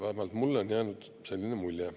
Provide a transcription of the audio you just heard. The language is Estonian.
Vähemalt mulle on jäänud selline mulje.